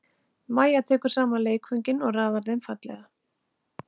Mæja tekur saman leikföngin og raðar þeim fallega.